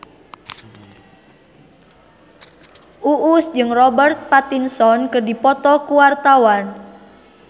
Uus jeung Robert Pattinson keur dipoto ku wartawan